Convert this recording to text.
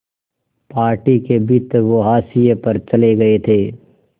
party के भीतर वो हाशिए पर चले गए थे